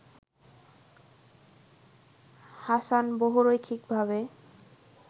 Hasan বহুরৈখিকভাবে